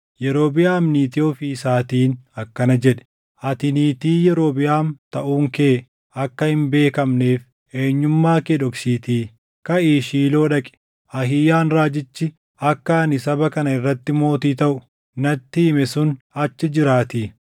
Yerobiʼaam niitii ofii isaatiin akkana jedhe; “Ati niitii Yerobiʼaam taʼuun kee akka hin beekneef eenyummaa kee dhoksiitii kaʼii Shiiloo dhaqi. Ahiiyaan raajichi akka ani saba kana irratti mootii taʼu natti hime sun achi jiraatii.